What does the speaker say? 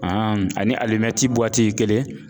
ani alimɛti kelen